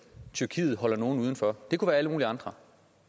tyrkiet holder nogle uden for det kunne være alle mulige andre